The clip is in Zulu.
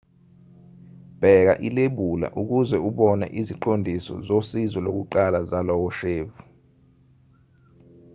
bheka ilebula ukuze ubone iziqondiso soziso lokuqala zalowo shevu